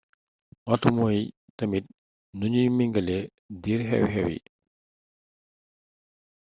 waxtu mooy tamit nuñuy mingale diir xew-xew yi